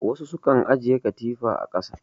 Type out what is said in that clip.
Wassu sukan ajiye katifa a ƙasa